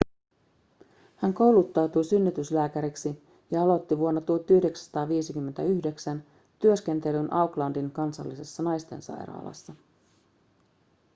hän kouluttautui synnytyslääkäriksi ja aloitti vuonna 1959 työskentelyn aucklandin kansallisessa naistensairaalassa